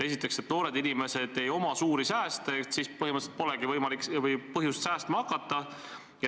Esiteks, et noortel inimestel ei ole suuri sääste ja põhimõtteliselt neil nagu pole võimalik või põhjust säästma hakata.